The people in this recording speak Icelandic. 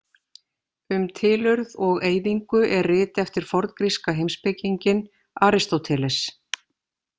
Um tilurð og eyðingu er rit eftir forngríska heimspekinginn Aristóteles.